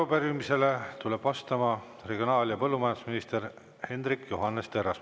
Arupärimisele tuleb vastama regionaal- ja põllumajandusminister Hendrik Johannes Terras.